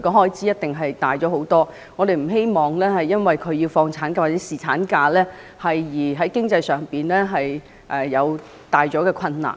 開支一定會大幅增加，我們不希望因為他們放取產假或侍產假，而增加了家庭經濟上的困難。